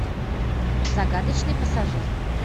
загадочный пассажир